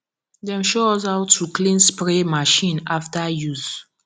dem show us how to clean spray machine after use